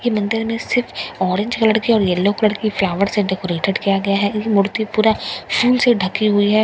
ये मंदिर में सिर्फ ऑरेंज कलर के और येलो कलर के फ्लावर से डेकोरेटेड किया गया है मूर्ति पूरा फूल से ढकी हुई है।